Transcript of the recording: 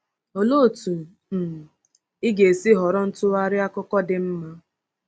Olee otú um ị ga-esi họrọ ntụgharị akụkọ dị mma?